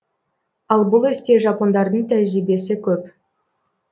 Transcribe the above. ал бұл істе жапондардың тәжірибесі көп